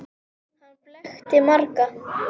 Hann blekkti marga.